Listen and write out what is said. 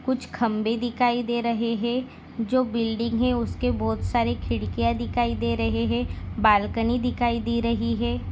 कुछ खंबे दिखाई दे रहे है जो बिल्डिंग है उसके बहुत सारे खिड़किया दिखाई दे रहे है बालकनी दिखाई दे रही है।